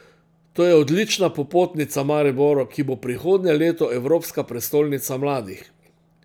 To je odlična popotnica Mariboru, ki bo prihodnje leto Evropska prestolnica mladih.